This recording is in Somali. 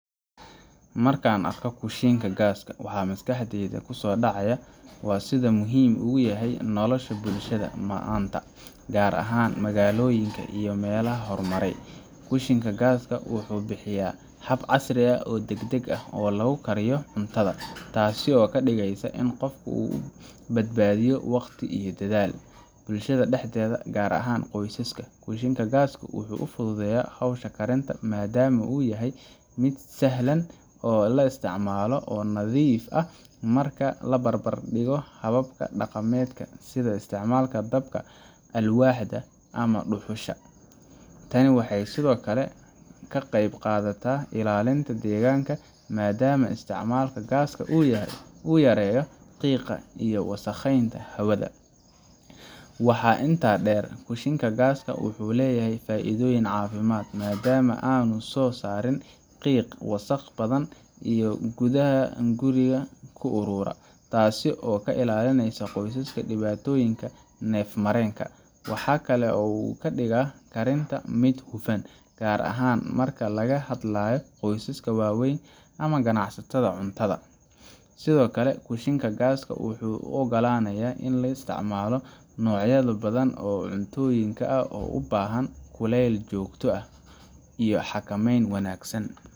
Marka aan arko kushiinka gaaska, waxa maskaxdayda ku soo dhacaya sida uu muhiim ugu yahay nolosha bulshada maanta, gaar ahaan magaalooyinka iyo meelaha horumaray. Kushiinka gaaska wuxuu bixiyaa hab casri ah oo degdeg ah oo lagu kariyo cuntada, taasoo ka dhigaysa in qofka uu badbaadiyo waqti iyo dadaal. Bulshada dhexdeeda, gaar ahaan qoysaska, kushiinka gaaska wuxuu fududeeyaa howsha karinta maadaama uu yahay mid sahlan oo la isticmaalo oo nadiif ah marka la barbar dhigo hababka dhaqameed sida isticmaalka dabka alwaaxda ama dhuxusha. Tani waxay sidoo kale ka qaybqaadataa ilaalinta deegaanka, maadaama isticmaalka gaaska uu yareeyo qiiqa iyo wasakheynta hawada. Waxaa intaa dheer, kushiinka gaaska wuxuu leeyahay faa’iidooyin caafimaad maadaama aanu soo saarin qiiq wasakh badan oo gudaha guriga ku urura, taasoo ka ilaalinaysa qoysaska dhibaatooyinka neef mareenka. Waxa kale oo uu ka dhigaa karinta mid hufan, gaar ahaan marka laga hadlayo qoysaska waaweyn ama ganacsatada cuntada. Sidoo kale, kushiinka gaaska wuxuu u oggolaanayaa in la isticmaalo noocyado badan oo cuntooyin ah oo u baahan kuleyl joogto ah iyo xakameyn wanaagsan,